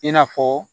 I n'a fɔ